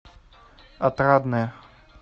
отрадное